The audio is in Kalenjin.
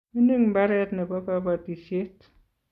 mining mbaret nebo kabatisiet